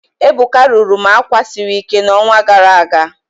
Ebuka rụrụ m àkwà siri ike n'ọnwa gara aga